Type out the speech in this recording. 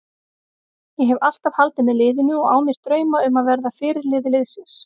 Ég hef alltaf haldið með liðinu og á mér drauma um að verða fyrirliði liðsins.